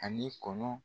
Ani kɔnɔ